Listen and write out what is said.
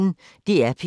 DR P1